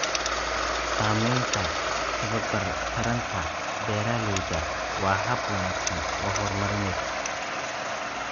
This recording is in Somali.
Samaynta tababar taranta beeralayda waa hab wanaagsan oo horumarineed.